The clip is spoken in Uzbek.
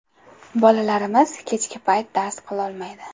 Bolalarimiz kechki payt dars qilolmaydi.